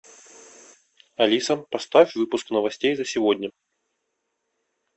алиса поставь выпуск новостей за сегодня